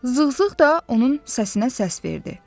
Zığzığ da onun səsinə səs verdi.